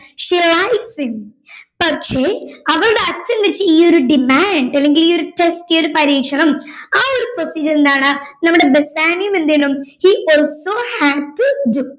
she likes him പക്ഷെ അവളുടെ അച്ഛൻ വെച്ച ഈ ഒരു demand അല്ലെങ്കി ഈ ഒരു test അല്ലെങ്കി ഈ ഒരു പരീക്ഷണം ആ ഒരു procedure എന്താണ് നമ്മുടെ ബെസാനിയോയും എന്ത് ചെയ്യണം he also have to do